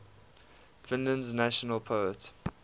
finland's national poet